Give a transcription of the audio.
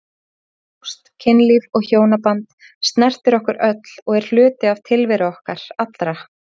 Ást, kynlíf og hjónaband snertir okkur öll og er hluti tilveru okkar allra.